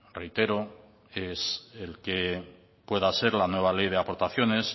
reitero es el que pueda ser la nueva ley de aportaciones